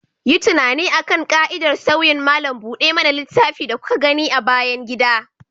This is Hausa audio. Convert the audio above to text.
Yi tunani akan ƙa'idar sauyin malam buɗe mana littafi da kuka gani a bayan gida.